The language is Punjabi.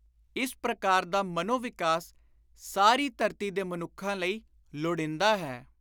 ਇਸ ਪ੍ਰਕਾਰ ਦਾ ਮਨੋ-ਵਿਕਾਸ ਸਾਰੀ ਧਰਤੀ ਦੇ ਮਨੁੱਖਾਂ ਲਈ ਲੋੜੀਂਦਾ ਹੈ।